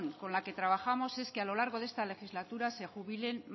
con la que trabajamos es que a lo largo de esta legislatura se jubilen